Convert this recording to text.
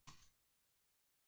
Gunnari og húsinu.